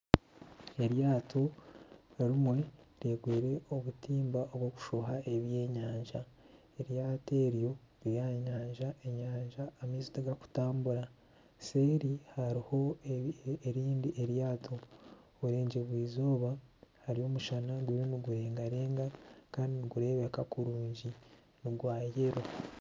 Eryato rimwe ryegwire obutimba bw'okushoha ebyenyanja eryato eryo riri aha nyanja, enyanja amaizi tigakutambura seeri hariho erindi eryato buregyerwa izooba hariyo omushana guriyo nigurengarega kandi nigureebeka kurungi nogwa yello.